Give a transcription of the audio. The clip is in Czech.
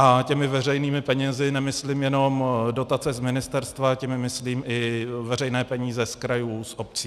A těmi veřejnými penězi nemyslím jenom dotace z ministerstva, těmi myslím i veřejné peníze z krajů, z obcí.